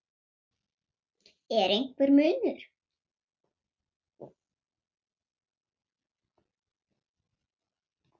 Er einhver munur?